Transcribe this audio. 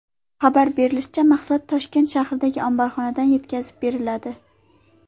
Xabar berishlaricha, mahsulot Toshkent shahridagi omborxonadan yetkazib beriladi.